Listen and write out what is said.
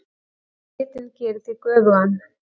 Svitinn gerir þig göfugan.